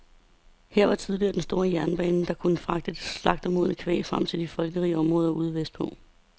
Her var tillige den store jernbane, der kunne fragte det slagtemodne kvæg frem til de folkerige områder ude vestpå.